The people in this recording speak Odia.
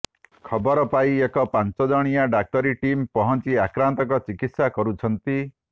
ଖବର ପାଇ ଏକ ପାଞ୍ଚ ଜଣିଆ ଡାକ୍ତରୀ ଟିମ୍ ପହଞ୍ଚି ଆକ୍ରାନ୍ତଙ୍କ ଚିକିତ୍ସା କରୁଛନ୍ତି